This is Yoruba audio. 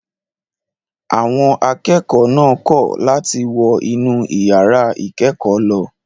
Àwọn akẹ́kọ̀ọ́ náà kọ̀ láti wọ inú ìyàrá ìkẹ́kọ̀ọ́ lọ.